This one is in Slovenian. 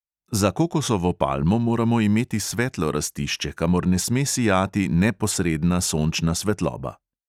Za kokosovo palmo moramo imeti svetlo rastišče, kamor ne sme sijati neposredna sončna svetloba.